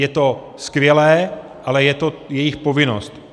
Je to skvělé, ale je to jejich povinnost.